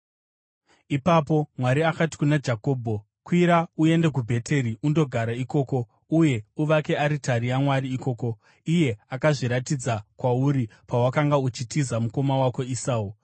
Ipapo Mwari akati kuna Jakobho, “Kwira uende kuBheteri undogara ikoko, uye uvake aritari yaMwari ikoko, iye akazviratidza kwauri pawakanga uchitiza mukoma wako Esau.”